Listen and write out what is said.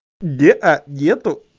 неа нет